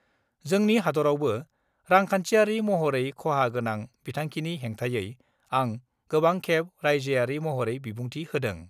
जोंनि हादरआवबो रांखान्थियारि महरै खहा गोनां बिथांखिनि हेंथायै आं गोबां खेब राइजोयारि महरै बिबुंथि होदों।